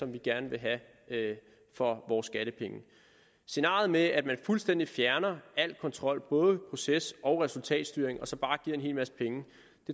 vi gerne vil have for vores skattepenge scenariet med at man fuldstændig fjerner al kontrol både proces og resultatstyring og så bare giver en hel masse penge